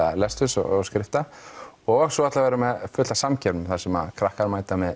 lesturs og skrifta og svo ætlum við að vera með fullt af samkeppnum þar sem krakkar mæta með